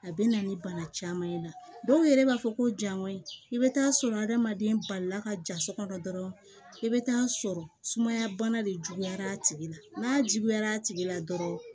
A bɛ na ni bana caman ye dɔw yɛrɛ b'a fɔ ko jago in i bɛ taa sɔrɔ adamaden balila ka ja so kɔnɔ dɔrɔn i bɛ taa sɔrɔ sumaya bana de juguyara a tigi la n'a juguyara a tigi la dɔrɔn